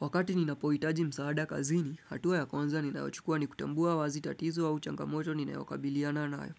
Wakati ninapohitaji msaada kazini, hatua ya kwanza ninayochukua nikutambua wazi tatizo au changamoto ninayokabiliana nayo.